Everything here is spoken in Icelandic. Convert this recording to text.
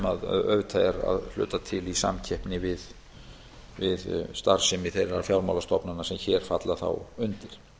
er að hluta til í samkeppni við starfsemi þeirra fjármálastofnana sem hér falla þá undir